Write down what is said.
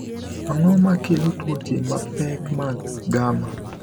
Ang’o ma kelo tuoche mapek mag gamma?